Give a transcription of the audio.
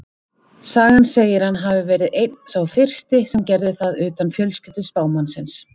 Sagan segir að hann hafi verið einn sá fyrsti sem gerði það utan fjölskyldu spámannsins.